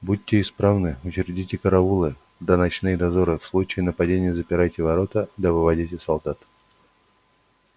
будьте исправны учредите караулы да ночные дозоры в случае нападения запирайте ворота да выводите солдат